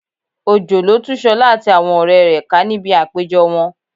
Òjò lo tú Ṣọlá àti àwọn ọ̀rẹ́ rẹ̀ ká níbi àpéjọ wọn